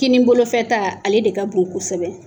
Kini bolofɛta , ale de ka bon kosɛbɛ